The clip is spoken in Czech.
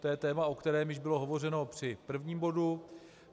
To je téma, o kterém již bylo hovořeno při prvním bodu.